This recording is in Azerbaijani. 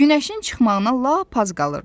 Günəşin çıxmağına lap az qalırdı.